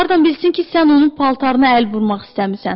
Hardan bilsin ki, sən onun paltarını əl vurmaq istəmisən?